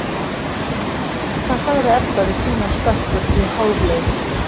Hvað sagði Edda við sínar stelpur í hálfleik?